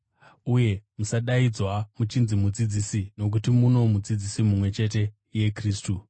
Uye musadaidzwa muchinzi ‘mudzidzisi’ nokuti muno Mudzidzisi mumwe chete iye Kristu.